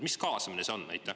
Mis kaasamine see on?